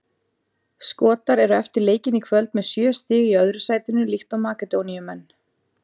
Skotar eru eftir leikinn í kvöld með sjö stig í öðru sætinu líkt og Makedóníumenn.